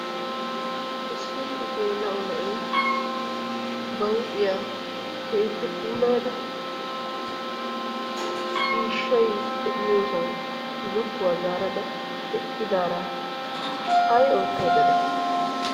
Issi gelao na'iya ba huuphiyaa keehippe puulaayada ciishshay deiyosan zokkuwa zaarada eqqidara ayi oottaydda deay?